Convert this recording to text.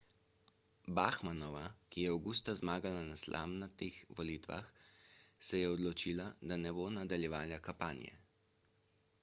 bachmannova ki je avgusta zmagala na slamnatih volitvah se je odločila da ne bo nadaljevala kampanje